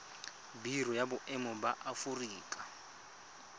biro ya boemo ya aforika